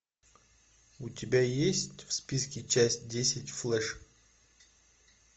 у тебя есть в списке часть десять флеш